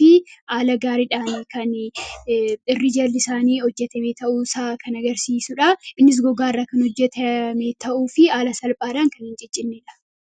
fi haala gaariidhaan kan irri jalli isaanii hojjatame yoo ta'u, kan agarsiisudha. Innis gogaarraa kan hojjatame ta'uu fi haala salphaadhaan kan argamudha.